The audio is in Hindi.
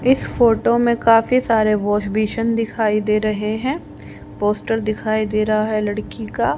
इस फोटो में काफी सारे वाशबेसिन दिखाई दे रहे हैं पोस्टर दिखाई दे रहा है लड़की का।